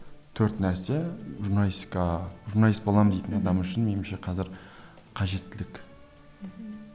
төрт нәрсе журналистикаға журналист боламын дейтін адам үшін меніңше қазір қажеттілік мхм